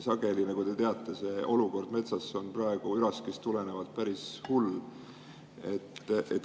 Sageli, nagu te teate, on metsa olukord üraski tõttu päris hull.